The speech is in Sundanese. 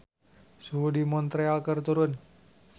Suhu di Montreal keur turun